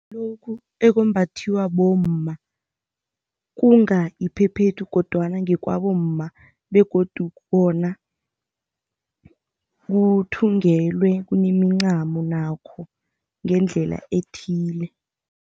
Ngilokhu ekumbathiwa bomma. Kunga iphephethu kodwana ngekwabomma begodu bona kuthungelwe, kunemincamo nakho ngendlela ethile.